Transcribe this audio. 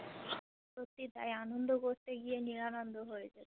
সত্যি তাই আনন্দ করতে গিয়ে নিরানন্দ হয়েছে